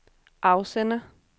afsender